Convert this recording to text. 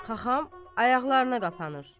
Xaxam ayaqlarına qapanır.